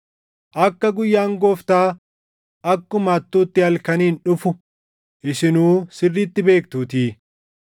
akka guyyaan Gooftaa akkuma hattuutti halkaniin dhufu isinuu sirriitti beektuutii.